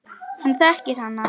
Hann þekkir hana.